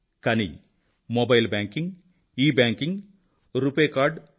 కానీ mobile banking e banking RuPay card you